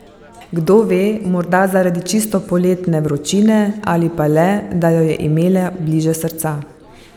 Kdo ve, morda zaradi čisto poletne vročine ali pa le, da jo je imela bliže srca ...